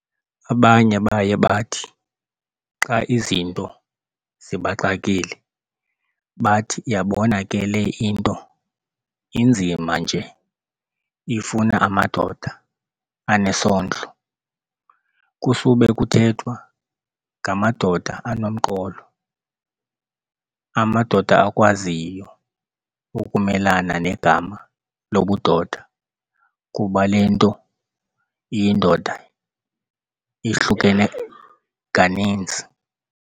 abanye baye bathi xa izinto zibaxakile bathi "Yabona ke le into inzima nje ifuna amadoda anesondlo" kusube kuthethwa ngamadoda anomqolo, amadoda akwaziyo ukumelana negama lobudoda kuba lento iyindoda ihlukene kaninzi.